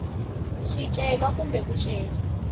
wa swicelwa kumbe ku cela